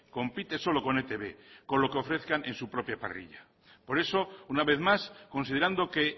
compite solo con etb con lo que ofrezcan en su propia parrilla por eso una vez más considerando que